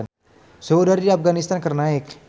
Suhu udara di Afganistan keur naek